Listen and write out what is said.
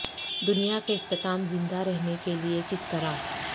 دنیا کے اختتام زندہ رہنے کے لئے کس طرح